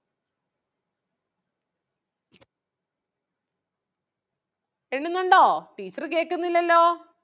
എണ്ണുന്നുണ്ടോ teacher കേൾക്കുന്നില്ലല്ലോ